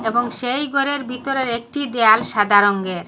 এবং সেই ঘরের ভিতরের একটি দেয়াল সাদা রঙ্গের।